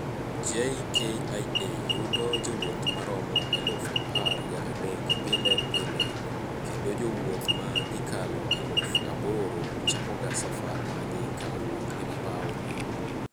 JKIA yudo jowuoth maromo eluf apar ga dek pile pile, kendo jowuoth ma ikalo eluf aboro chakoga safar margi ka owuok e paw ni